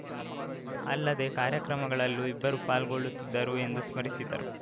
ಅಲ್ಲದೆ ಕಾರ್ಯಕ್ರಮಗಳಲ್ಲೂ ಇಬ್ಬರೂ ಪಾಲ್ಗೊಳ್ಳುತ್ತಿದ್ದರೂ ಎಂದು ಸ್ಮರಿಸಿದರು